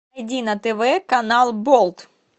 на тв канал болт